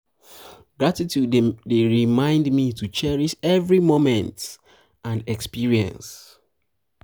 gratitude dey remind me to cherish every moment cherish every moment and experience.